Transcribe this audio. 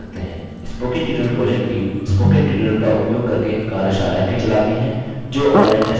spoken tutorial project team spoken tutorial का उपयोग करके कार्यशालाएँ भी चलाती है